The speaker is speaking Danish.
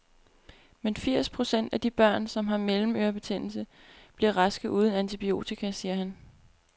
Men firs procent af de børn, som har mellemørebetændelse, bliver raske uden antibiotika, siger han.